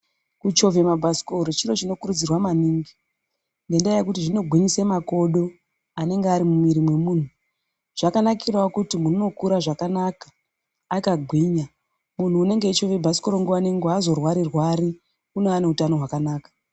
Kuchovhe mabhasikoro chiro chinokunokurudzirwa maningi ngendaa yekuti zvinogwinyisa makodo anenge ari mumwiri memunthu zvakanakirawo kuti munthu unokure zvakanaka munthu unochovhe bhasikoro aazorwari rwari unowa neutano hwakanaka.